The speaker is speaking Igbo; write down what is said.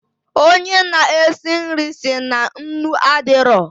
Onye na esi nri si na nnu adịrọ